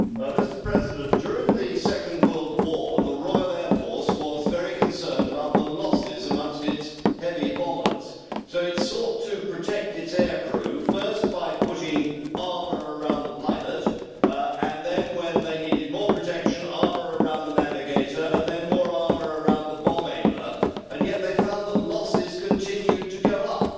Mr President, during the second World War, the Royal Air Force was very concerned about the losses amongst its heavy bombers, so it sought to protect its air crew, first by putting armour around the pilot and then, when they needed more protection, armour around the navigator and more armour around the bomber. Yet they found that losses continued to go up.